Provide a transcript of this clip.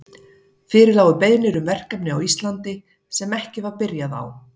Fyrir lágu beiðnir um verkefni á Íslandi, sem ekki var byrjað á.